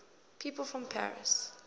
people from paris